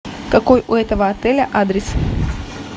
какой у этого отеля адрес